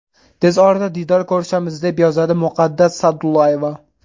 Tez orada diydor ko‘rishamiz”, deb yozadi Muqaddas Sa’dullayeva.